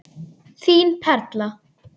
Þín Perla.